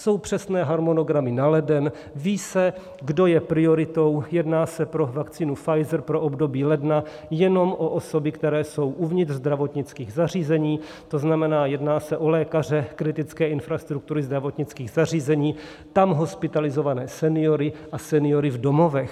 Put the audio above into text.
Jsou přesné harmonogramy na leden, ví se, kdo je prioritou, jedná se pro vakcínu Pfizer pro období ledna jenom o osoby, které jsou uvnitř zdravotnických zařízení, to znamená, jedná se o lékaře kritické infrastruktury, zdravotnických zařízení, tam hospitalizované seniory a seniory v domovech.